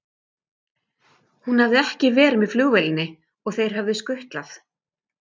Hún hafði ekki verið með flugvélinni og þeir höfðu skutlað